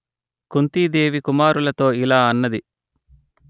కుంతీ దేవి కుమారులతో ఇలా అన్నది